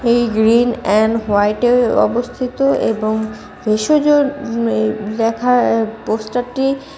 এই green and white -এ অবস্থিত এবং ভেষজ এই লেখা অ্যা পোস্টার টি--